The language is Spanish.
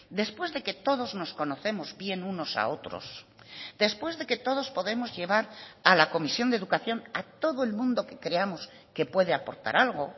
después de que todos nos conocemos bien unos a otros después de que todos podemos llevar a la comisión de educación a todo el mundo que creamos que puede aportar algo